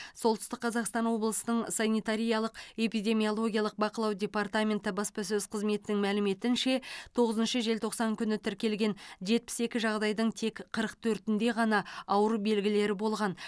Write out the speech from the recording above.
солтүстік қазақстан облысының санитариялық эпидемиологиялық бақылау департаменті баспасөз қызметінің мәліметінше тоғызыншы желтоқсан күні тіркелген жетпіс екі жағдайдың тек қырық төртінде ғана ауру белгілері болған